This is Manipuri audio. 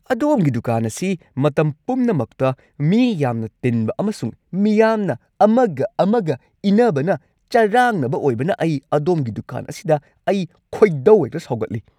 ꯑꯗꯣꯝꯒꯤ ꯗꯨꯀꯥꯟ ꯑꯁꯤ ꯃꯇꯝ ꯄꯨꯝꯅꯃꯛꯇ ꯃꯤ ꯌꯥꯝꯅ ꯇꯤꯟꯕ ꯑꯃꯁꯨꯡ ꯃꯤꯌꯥꯝꯅ ꯑꯃꯒ-ꯑꯃꯒ ꯏꯟꯅꯕꯅ ꯆꯔꯥꯡꯅꯕ ꯑꯣꯏꯕꯅ ꯑꯩ ꯑꯗꯣꯝꯒꯤ ꯗꯨꯀꯥꯟ ꯑꯁꯤꯗ ꯑꯩ ꯈꯣꯏꯗꯧ ꯍꯦꯛꯇ ꯁꯥꯎꯒꯠꯂꯤ꯫